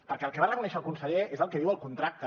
perquè el que va reconèixer el conseller és el que diu el contracte